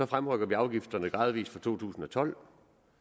fremrykker vi afgifterne gradvist fra to tusind og tolv